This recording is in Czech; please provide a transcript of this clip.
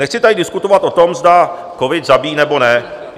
Nechci tady diskutovat o tom, zda covid zabíjí, nebo ne.